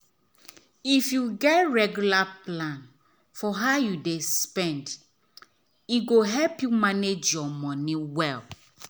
if you get regular plan for how you dey spend e go help you manage your money well.